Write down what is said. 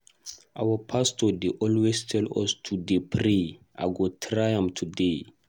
Our pastor dey always tell us to dey pray, I go try am today.